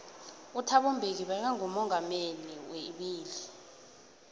uthabo mbeki beka ngomongameli weibili